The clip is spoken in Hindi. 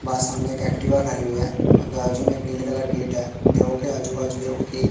वहां सामने एक एक्टिवा खड़ी हुई है और बाजू में एक नीले कलर का गेट है देखो कि आजू बाजू देखो कि--